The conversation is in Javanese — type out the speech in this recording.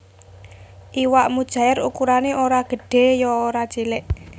Iwak mujaèr ukurané ora gedhé ya ora cilik